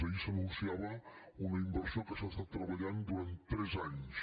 ahir s’anunciava una inversió que s’ha treballat durant tres anys